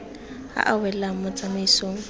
a a welang mo tsamaisong